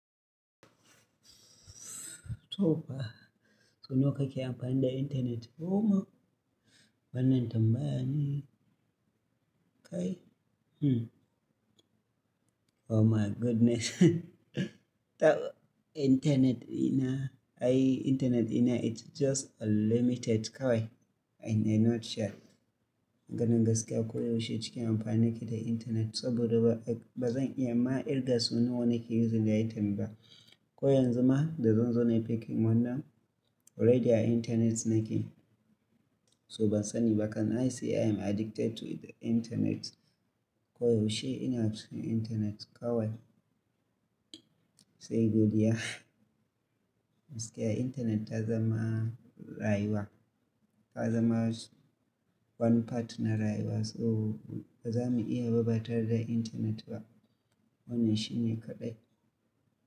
Tofa, so wa kake amfani da internet? Koma wannan tambayan nan? Kai? Mm. Oh my goodness. Ta internet ina, Ai internet ɗina it's just unlimited kawai. I'm not sure ganin gaskiya koyaushe cikin amfani da internet saboda ba, ba zan iya ma ƙirga so nawa nake using airtime ba. Koyanzu ma da zan zo nayi packing wannan already a internet nake. So ban sani ba kam gaskiya I am addicted to the internet. Koyaushe ina cikin internet kawai. Sai godiya. Gaskiya internet ta zama rayuwa. Ta zama one part na rayuwa. So ba za mu iya ba batare da internet ba. Wannan shine kaɗai.